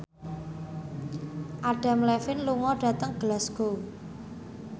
Adam Levine lunga dhateng Glasgow